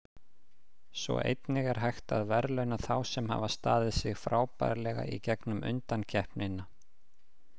Svo einnig er hægt að verðlauna þá sem hafa staðið sig frábærlega í gegnum undankeppnina.